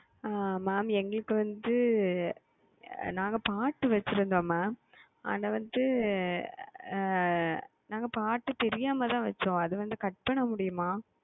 உம்